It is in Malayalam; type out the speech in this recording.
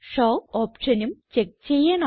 ഷോ ഓപ്ഷനും ചെക്ക് ചെയ്യണം